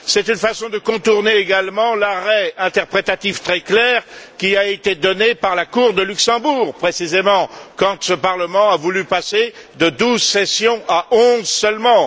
C'est une façon de contourner également l'arrêt interprétatif très clair qui a été donné par la Cour de Luxembourg précisément quand ce Parlement a voulu passer de douze sessions à onze seulement.